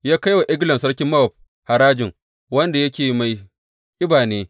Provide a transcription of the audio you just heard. Ya kai wa Eglon sarkin Mowab harajin, wanda yake mai ƙiba ne.